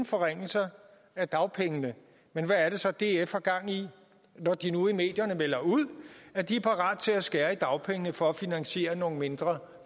forringelser af dagpengene men hvad er det så df har gang i når de nu i medierne melder ud at de er parate til at skære i dagpengene for at finansiere nogle mindre